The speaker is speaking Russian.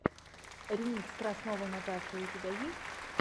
ремикс красновой наташи у тебя есть